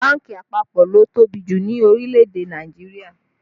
Bánkì àpapọ̀ ló tóbi jù ní orílẹ̀ èdè Nàìjíríà